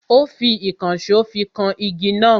Ó fi ìkànsó fi kan igi náà.